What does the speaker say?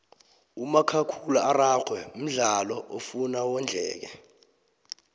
umakhakhula araxhwe mdlalo ofuna wondleke